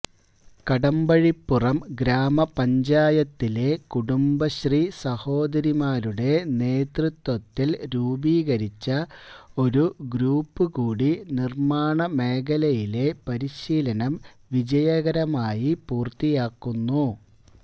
കടമ്പഴിപ്പുറം ഗ്രാമ പഞ്ചായത്തിലെ കുടുംബശ്രീ സഹോദരിമാരുടെ നേതൃത്വത്തില് രൂപീകരിച്ച ഒരു ഗ്രൂപ്പു കൂടി നിര്മാണ മേഖലയിലെ പരിശീലനം വിജയകരമായി പൂര്ത്തിയാക്കുന്നു